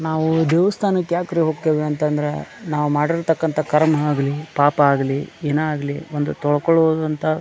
ನಾವು ದೇವಸ್ಥಾನಕ್ಕೆ ಯಾಕ್ರಿ ಹೋಗ್ತೇವೆ ಅಂದ್ರೆ ನಾವು ಮಾಡಿರ್ತಕ್ಕಂತಹ ಕರ್ಮಾ ಆಗಲಿ ಪಾಪ ಆಗಲಿ ಏನ ಆಗಲಿ ಒಂದು ತೋಳ್ಕೊಳ್ಳೋದು ಅಂತ --